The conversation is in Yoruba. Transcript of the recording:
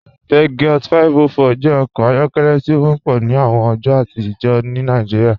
Peugeot 504 jẹ ọkọ ayọkẹlẹ ti o wọpọ ni awọn ọjọ atijọ ni Nàìjíríà.